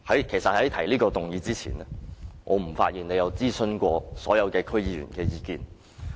其實在他提出這議案前，我發現他不曾諮詢所有區議員的意見。